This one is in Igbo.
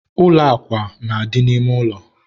ụlọ akwa na-adị n'ime ụlọ